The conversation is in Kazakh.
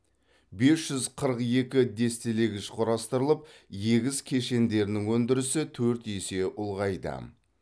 бес жүз қырық екі дестелегіш құрастырылып егіс кешендерінің өндірісі төрт есе ұлғайды